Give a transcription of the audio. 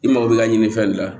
I mago bɛ ɲini fɛn de la